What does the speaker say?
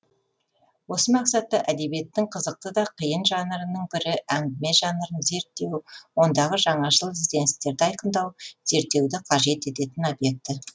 осы мақсатта әдебиеттің қызықты да қиын жанрының бірі әңгіме жанрын зерттеу ондағы жаңашыл ізденістерді айқындау зерттеуді қажет ететін объекті